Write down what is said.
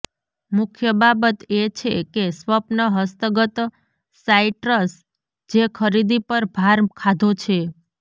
મુખ્ય બાબત એ છે કે સ્વપ્ન હસ્તગત સાઇટ્રસ જે ખરીદી પર ભાર ખાધો છે